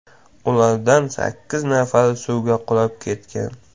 Ulardan sakkiz nafari suvga qulab ketgan.